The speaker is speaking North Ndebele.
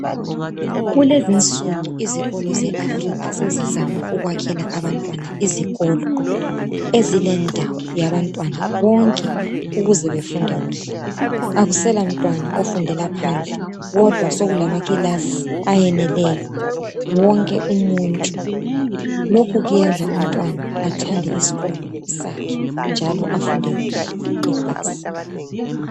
Kulezinsuku izikolo zeAfrica sezizama ukwakhela abantwana izikolo ezilendawo yabantwana bonke ukuze befunde kuhle. Akuselamntwana ofundela phandle kodwa sokulamakilasi ayeneleyo wonke umuntu. Lokhu kwenza umntwana athande isikolo sakhe njalo afunde kuhle epase.